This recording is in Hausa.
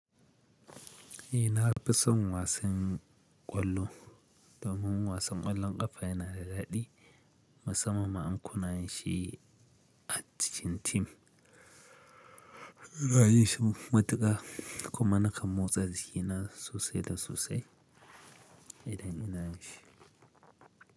Eh nafisan wasan ƙwallo domin wasan ƙwallon ƙafa yana da daɗi. Musamman ma in kuna yin shi a cikin tim, ina yin shi matuƙa kuma na kan motsa jiki na sosai da sosai idan ina shi.